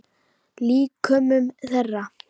Líkömum þeirra.